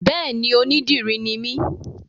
Béèni, onídìrí ni mí